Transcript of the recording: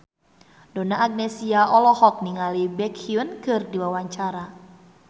Donna Agnesia olohok ningali Baekhyun keur diwawancara